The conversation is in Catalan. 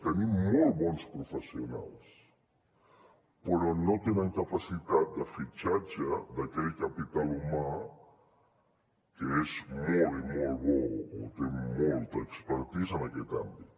tenim molt bons professionals però no tenen capacitat de fitxatge d’aquell capital humà que és molt i molt bo o té molta expertise en aquest àmbit